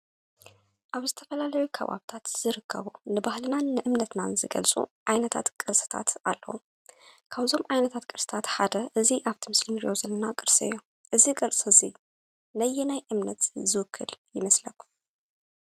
አብ ዝተፈላለዩ ከባብታት ዝርከቡ ንባህልናን ንእምነትናን ዝገልፁ ዓይነታት ቅርስታት አለው። ካብዞም ዓይነታት ቅርስታት ሓደ እዚ አብቲ ምስሊ እንሪኦ ዘለና ቅርሲ እዩ። እዚ ቅርሲ እዚ ነየናይ እምነት ዝውክል ይመስለኩም?